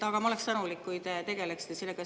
Ma oleksin tänulik, kui te tegeleksite sellega.